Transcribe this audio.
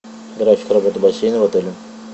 график работы бассейна в отеле